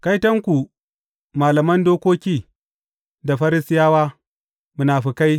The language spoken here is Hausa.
Kaitonku, malaman dokoki da Farisiyawa, munafukai!